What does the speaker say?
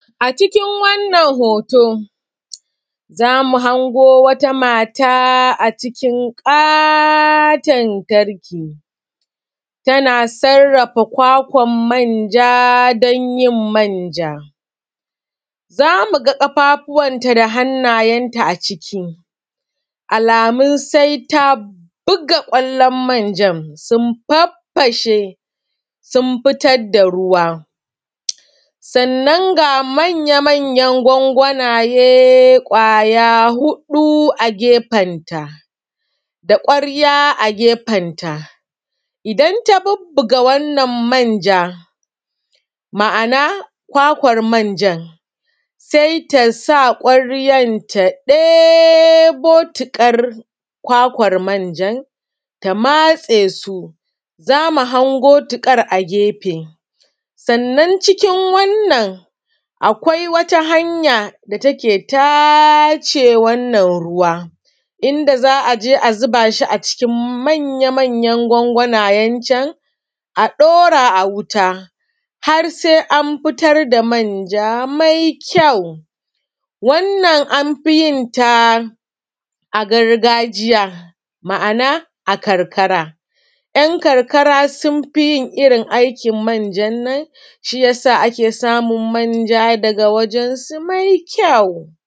cikin wannan hoto zamu hango wata mata acikin katon tarki tana sarrafa kwakwan manja danyin manja zamuga kafafuwan ta da hannayen ta a ciki alamun saita buga kwallon manjan sun faffashe sun futar da ruwa sannan ga manya manyan gwangwanaye kwaya hudu a gafen ta da kwarya a gefen ta idan ta bubbuga wannan manja ma’ana kwakwan manjan sai tasa kwaryar ta debo tukar kwakwar manjan ta matse su mu hango tukar a gefe sannan cikin wannan akwai wata hanya data ke tace wannan ruwa inda za’aje a zubashi a cikin manya manyan gwangwanayencen a dora a wuta har sai anfitar da manja mai kyau wannan anfiyin ta a gargajiya ma’ana a karkara yan karkara sunfi yin irrin aikin manjan daga wajensu mai kyau.